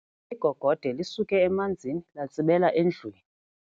Igogode lisuke emanzini latsibela endlwini.